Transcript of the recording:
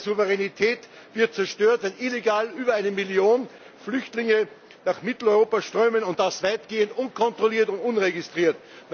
Die staatliche Souveränität wird zerstört, wenn illegal über 1 Million Flüchtlinge nach Mitteleuropa strömen, und das weitgehend unkontrolliert und unregistriert.